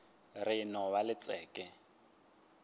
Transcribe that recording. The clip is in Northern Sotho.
re e no ba letšeke